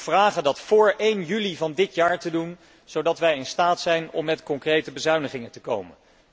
Ik wil hem vragen dat vóór 1 juli van dit jaar te doen, zodat wij in staat zijn om met concrete bezuinigingen te komen.